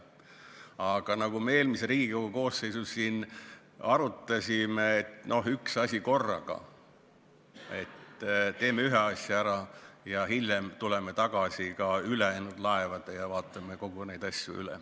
Aga nagu me eelmise Riigikogu koosseisu ajal siin arutasime, siis üks asi korraga: teeme ühe asja ära ning hiljem tuleme tagasi ülejäänud laevade juurde ja vaatame ka need üle.